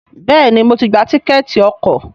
Béèni mo tí gbà Tíkẹ́ẹ̀tì ọkọ̀.